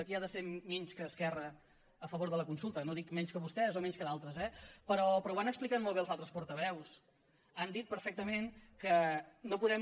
qui ha de ser menys que esquerra a favor de la consulta no dic menys que vostès o menys que d’altres eh però ho han explicat molt bé els altres portaveus han dit perfectament que no podem